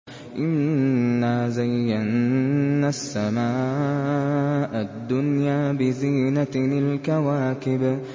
إِنَّا زَيَّنَّا السَّمَاءَ الدُّنْيَا بِزِينَةٍ الْكَوَاكِبِ